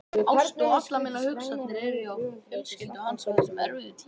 Ást og allar mínar hugsanir er hjá fjölskyldu hans á þessum erfiðu tímum.